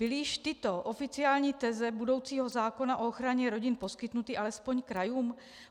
Byly již tyto oficiální teze budoucího zákona o ochraně rodin poskytnuty alespoň krajům?